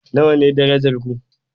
Nawa ne darajar ku?